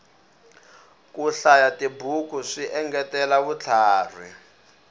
ku hlayatibuku swi engetela vutlhari